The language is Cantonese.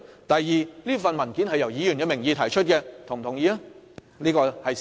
第二，這份文件是以一名議員的名義提出，這亦顯然是事實。